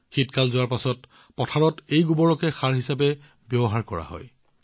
শীতকাল যোৱাৰ পিছত পথাৰত এইখিনিকে গোবৰ সাৰ হিচাপে ব্যৱহাৰ কৰা হয়